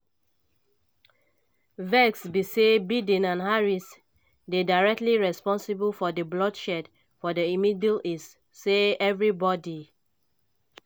vex be say biden and harris dey directly responsible for di bloodshed for di middle east say evribodi